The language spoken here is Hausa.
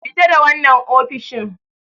Fita da wannan ofishin!